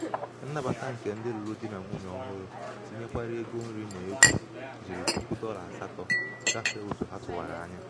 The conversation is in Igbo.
nnabata nke ndị lụrụ di na nwunye ọhụrụ tinyekwara ego nri na egwu jiri puku dolla asato gafee otu ha tuwara anya